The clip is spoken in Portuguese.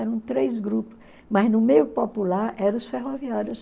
Eram três grupos, mas no meio popular eram os ferroviários.